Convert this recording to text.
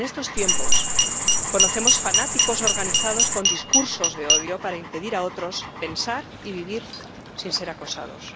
En estos tiempos conocemos fanáticos organizados con discursos de odio para impedir a otros pensar y vivir sin ser acosados.